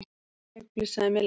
Ekki ég flissaði Milla.